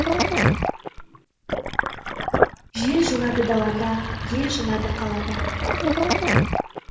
жел жылады далада ел жылады қалада